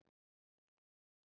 Það sama